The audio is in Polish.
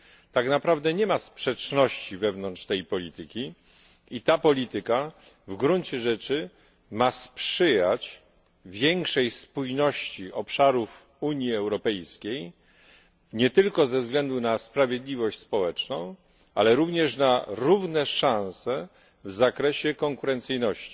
Tak naprawdę nie ma sprzeczności wewnątrz tej polityki i ta polityka w gruncie rzeczy ma sprzyjać większej spójności obszarów Unii Europejskiej, nie tylko ze względu na sprawiedliwość społeczną, ale również na równe szanse w zakresie konkurencyjności.